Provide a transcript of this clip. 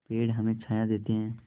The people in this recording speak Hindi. पेड़ हमें छाया देते हैं